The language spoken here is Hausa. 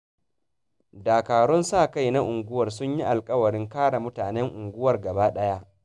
Dakarun sa-kai na unguwar sun yi alƙawarin kare mutanen unguwar gabadaya